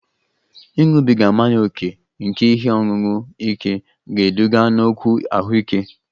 Ịṅụbiga mmanya ókè nke ihe ọṅụṅụ ike ga-eduga n'okwu ahụike